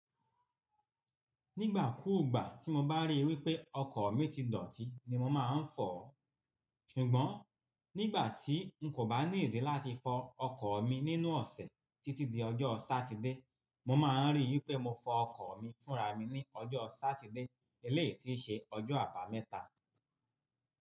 Nígbà kúùgbà tí mo bá ríi wípé ọkọ̀ mi ti dọ̀tí ní mo má ń fọ̀ ọ́. Ṣùgbọ́n nígbà tí n kò bá ní ìdí láti fọ ọkọ̀ mi nínú ọ̀sẹ̀ títí di ọjọ́ Satide, mo máa ríi wípé mo fọ ọkọ̀ mi fúnra mi ní ọjọ́ Satide eléyii ti i ṣe ọjọ́ Abámẹ́ta.